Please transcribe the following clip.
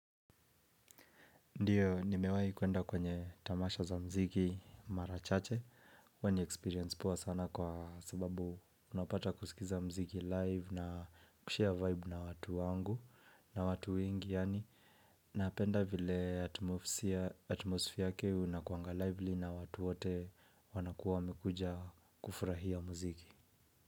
Ndiyo nimewahi kuenda kwenye tamasha za mziki mara chache ilikuwa ni experience poa sana kwa sababu unapata kuskiza mziki live na kushare vibe na watu wangu na watu wengi yani napenda vile atmosphere yake inakuanga lively na watu wote wanakuwa wamekuja kufurahia mziki.